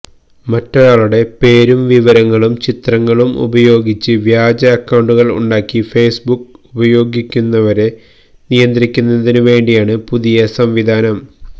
മറ്റൊരാളുടെ പേരും വിവരങ്ങളും ചിത്രങ്ങളും ഉപയോഗിച്ച് വ്യാജ അക്കൌണ്ടുകള് ഉണ്ടാക്കി ഫേസ്ബുക്ക് ഉപയോഗിക്കുന്നവരെ നിയന്ത്രിക്കുന്നതിനുവേണ്ടിയാണ് പുതിയ സംവിധാനം